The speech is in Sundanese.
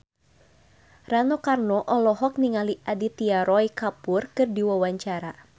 Rano Karno olohok ningali Aditya Roy Kapoor keur diwawancara